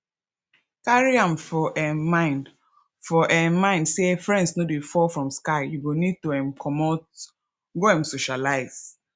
carry am for um mind for um mind sey friends no dey fall from sky you go need to um comot go um socialize